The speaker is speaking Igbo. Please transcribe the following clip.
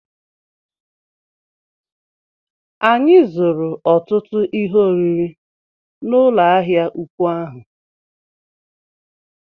Anyị zụrụ ọtụtụ ihe oriri n'ụlọ ahịa ụkwụ ahụ